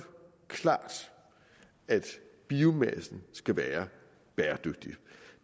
klart at biomassen skal være bæredygtig